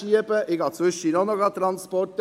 Auch ich mache zwischendurch Transporte.